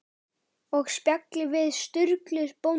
Og spjalli við Sturlu bónda.